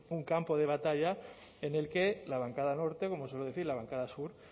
un campo de batalla en el que la bancada norte como suelo decir la bancada sur